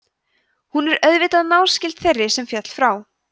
hún er auðvitað náskyld þeirri sem féll frá